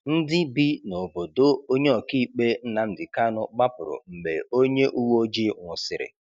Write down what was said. Ndị bi n’obodo onye ọka ikpe Nnamdi Kanu gbapụrụ mgbe onye uwe ojii nwụsịrị.